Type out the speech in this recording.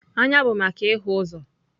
Anya bụ maka ịhụ ụzọ.